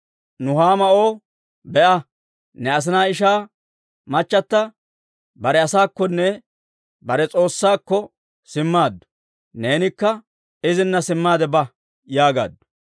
Nuhaama O, «Be'a, ne asinaa ishaa machchata bare asaakkonne bare s'oossakkonne simmaaddu. Neenikka izina simmaade ba» yaagaaddu.